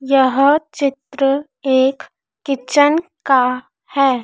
यह चित्र एक किचन का है।